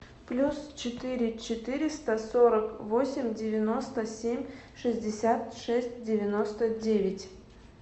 плюс четыре четыреста сорок восемь девяносто семь шестьдесят шесть девяносто девять